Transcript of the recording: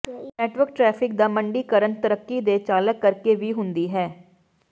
network traffic ਦਾ ਮੰਡੀਕਰਨ ਤਰੱਕੀ ਦੇ ਚਾਲਕ ਕਰਕੇ ਵੀ ਹੁੰਦੀ ਹੈ